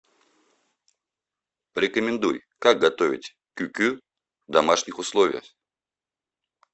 порекомендуй как готовить кюкю в домашних условиях